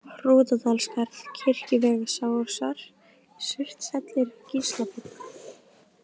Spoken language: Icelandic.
Hrútadalsskarð, Kirkjuvegsásar, Surtshellir, Gíslaborg